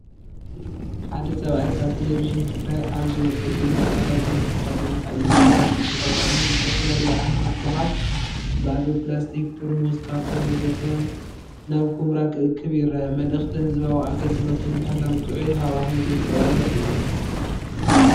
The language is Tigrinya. ሓደ ሰብኣይ ካብ ተለቪዥን ትግራይ ኣብ ዝወጸ ዜና፡ ጻዕዳ ጓንቲ ተኸዲኑ ቀይሕ ሸፋሽፍቲ ተጠቒሙ ዝተፈላለዩ ዓይነታት ጎሓፍ (ባዶ ፕላስቲክ ጥርሙዝ፡ ካርቶን ወዘተ) ናብ ኵምራ ክእክብ ይርአ። መልእኽቲ ህዝባዊ ኣገልግሎትን ምሕላው ጥዑይ ሃዋህው ዘንጸባርቕ እዩ።